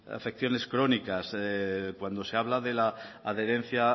afecciones crónicas cuando se habla de la adherencia